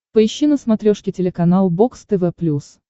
поищи на смотрешке телеканал бокс тв плюс